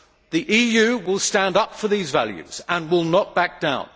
The EU will stand up for these values and will not back down.